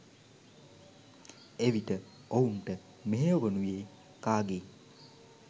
එවිට ඔවුන්ට මෙහෙයවනුයේ කාගේ